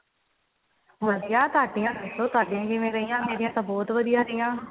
ਵਧੀਆ ਤੁਹਾਡੀਆ ਦੱਸੋ ਤੁਹਾਡੀਆ ਕਿਵੇਂ ਰਹੀਆ ਮੇਰੀਆ ਤਾਂ ਬਹੁਤ ਵਧੀਆ ਰਹੀਆ